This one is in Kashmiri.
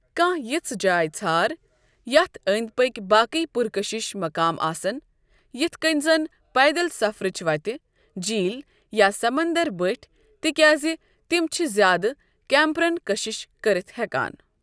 کانٛہہ یژھ جاے ژھار یتھ أنٛدۍ پٔکۍ باقی پُرکشش مقام آسن، یتھ کنۍ زن پیدل سفرٕچ وتہٕ، جیٖل، یا سمندر بٔٹھۍ، تِکیازِ تِم چھِ زیادٕ کیمپرن کٔشِش کٔرِتھ ہیکان۔